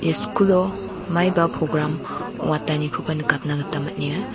ia skulo maiba program ong·atanikoba nikatna gita man·enga.